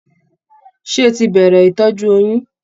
Ṣé o tí bẹrẹ ìtọjú oyún?